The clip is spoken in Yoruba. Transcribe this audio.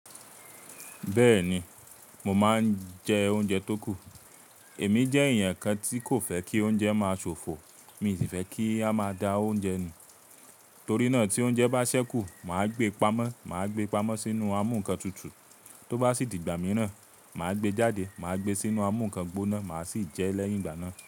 Bẹ́ẹ̀ni, mo máa ń jẹ oúnjẹ tó kù. Èmi jẹ́ èèyàn kan tí kò fẹ́ kí oúnjẹ máa ṣòfò. Mi i sì fẹ́ kí a máa da oúnjẹ nu. Torí náà tí oúnjẹ bá ṣẹ́kù, màá gbé pamọ́. Màá gbé pamọ́ sínú amú ǹkan tutù, tó bá sì di ìgbà mìíràn, màá gbé jáde, màá gbé sínú amú ǹkan gbóná, màá sì jẹ lẹ́yìn ìgbà náà.